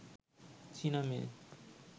চীনা মেয়ে